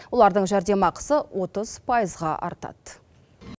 олардың жәрдемақысы отыз пайызға артады